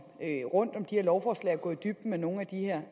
rundt om de her lovforslag på og gå i dybden med nogle af de her